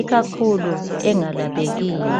ikakhulu engalaphekiyo.